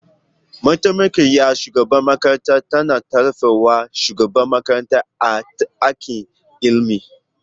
Mataimakiyar shugaban makarantar tana tallafa wa shugaban makarantar a aikin ilimi.